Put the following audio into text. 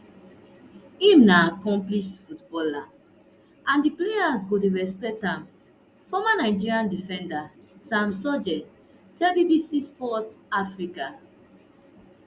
im na accomplished footballer and di players go dey respect am former nigeria defender sam sodje tell bbc sport africa